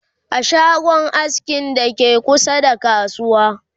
a shagon askin da ke kusa da kasuwa